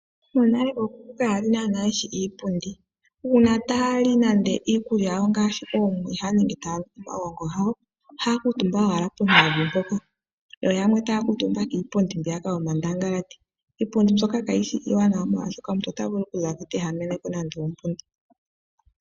Monale ookuku kaya li ye shi iipundi. Uuna taya li ikulya yawo ngaashi omwiha nenge taya nu omagongo gawo ohaya kuuntumba owala pevi yo yamwe taya kuutumba kiipundi yomandangalati. Iipundi mbyoka kayi shi iiwanawa, molwashoka omuntu ota vulu okuza ko te ehama nando ombunda.